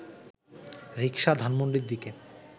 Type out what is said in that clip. রিকশা ধানমন্ডির দিকে